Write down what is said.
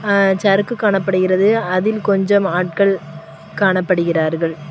அ சறுக்கு காணப்படுகிறது அதில் கொஞ்சம் ஆட்கள் காணப்படுகிறார்கள்.